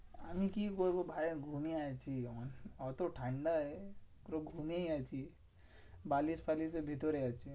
আমি কি করবো ভাই ঘুমিয়ে আছি, ওতো ঠান্ডায় তো ঘুমিয়েই আছি। বালিশ ফালিসের ভিতরে আছি।